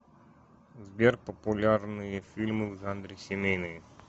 сбер популярные фильмы в жанре семейные